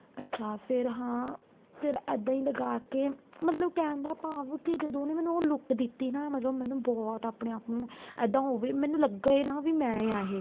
ਅੱਛਾ ਫ਼ੇਰ ਹਾਂ ਫ਼ੇਰ ਇੱਦਾਂ ਹੀ ਲਗਾਕੇ ਮਤਲਬ ਕਹਿਣ ਦਾ ਭਾਵ ਕੇ ਜਦੋਂ ਉਹਨੇ ਮੈਨੂੰ ਉਹ look ਦਿੱਤੀ ਨਾ ਮਤਲਬ ਮੈਂਨੂੰ ਬਹੁਤ ਆਪਣੇ ਆਪ ਨੂੰ ਇਹਦਾ ਹੋਵੇ ਮੈਨੂੰ ਲੱਗੇ ਨਾ ਵੀ ਮੈਂ ਹਾਂ ਇਹ